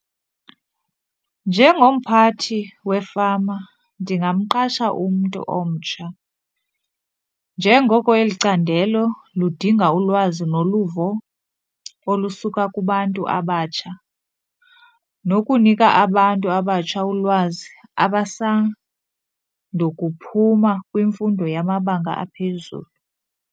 Njengomphathi wefama ndingamqasha umntu omtsha njengoko eli candelo ludinga ulwazi noluvo olusuka kubantu abatsha, nokunika abantu abatsha ulwazi abasando kuphuma kwimfundo yamabanga aphezulu.